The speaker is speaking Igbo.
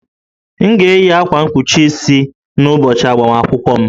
M ga-eyi akwa mkpuchi isi n'ụbọchị agbamakwụkwọ m?